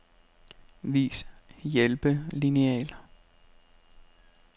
Vis hjælpelineal.